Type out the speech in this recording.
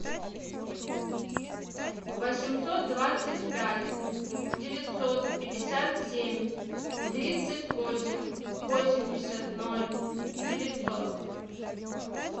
восемьсот двадцать пять девятьсот пятьдесят семь тридцать восемь восемьдесят ноль девятьсот